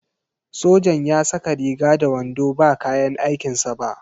Sojan ya saka riga da wando ba kayan aikin sa ba.